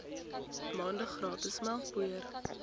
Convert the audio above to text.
maande gratis melkpoeier